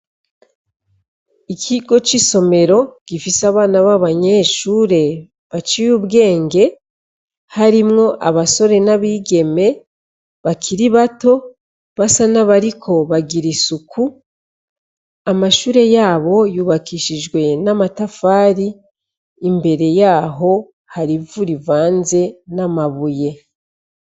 Ikigo c'isomero gifise abana b'abanyeshure baciye ubwenge harimwo abasore n'abigeme bakiri bato basa n'abariko bagira isuku amashure yabo yubakishijwe n'amatafari imbere yaho hari ivu rivanze n'amabuye.